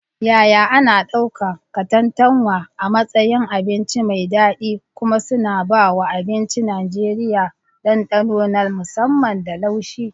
Yaya ana ɗauka katantanwa a matsayin abinci mai daɗi kuma suna ba wa abincin Najeriya dandano na musamman da laushi.